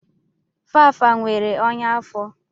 Fafa nwere ọnya afọ.